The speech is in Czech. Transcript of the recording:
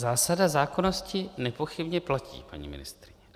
Zásada zákonnosti nepochybně platí, paní ministryně.